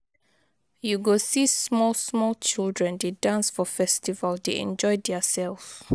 You go see small small children dey dance for festival dey enjoy their self